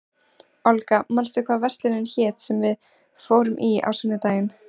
Olga, manstu hvað verslunin hét sem við fórum í á sunnudaginn?